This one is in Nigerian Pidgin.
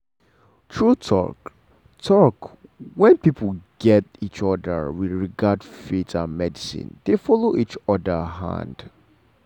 true talk - talk - when people gat each other with regard faith and medicine dey follow each other hand.